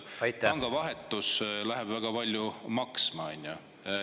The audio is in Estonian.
… siis pangavahetus läheb väga palju maksma.